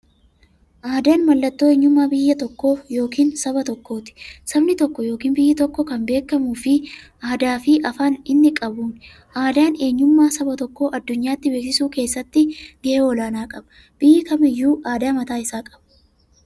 Aadaan mallattoo eenyummaa biyya yookiin saba tokkooti. Sabni tokko yookiin biyyi tokko kan beekamu aadaafi afaan inni qabuun. Aadaan eenyummaa saba tokkoo addunyyaatti beeksisuu keessatti gahee olaanaa qaba. Biyyi kamiyyuu aadaa maataa isaa qaba.